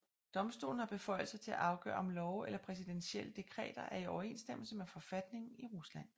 Domstolen har beføjelser til at afgøre om love eller præsidentielle dekreter er i overensstemmelse med forfatningen i Rusland